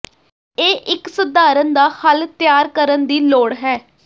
ਇਹ ਇੱਕ ਸਧਾਰਨ ਦਾ ਹੱਲ ਤਿਆਰ ਕਰਨ ਦੀ ਲੋੜ ਹੈ